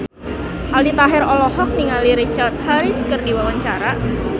Aldi Taher olohok ningali Richard Harris keur diwawancara